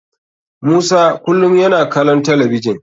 Musa kulum yana kalon talabijin.